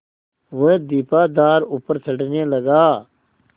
वह दीपाधार ऊपर चढ़ने लगा